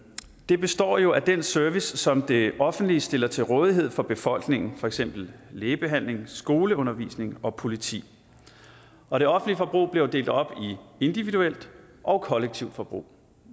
det består jo af den service som det offentlige stiller til rådighed for befolkningen for eksempel lægebehandling skoleundervisning og politi og det offentlige forbrug bliver delt op i individuelt og kollektivt forbrug